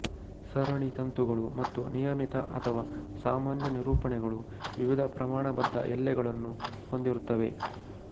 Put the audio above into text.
ಸರಣಿ ತಂತುಗಳು ಮತ್ತು ನಿಯಮಿತ ಅಥವಾ ಸಾಮಾನ್ಯ ನಿರೂಪಣೆಗಳು ವಿವಿಧ ಪ್ರಮಾಣಬದ್ದ ಎಲ್ಲೆಗಳನ್ನು ಹೊಂದಿರುತ್ತವೆ